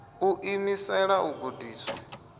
u ḓi imisela u gudiswa